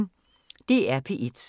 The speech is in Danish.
DR P1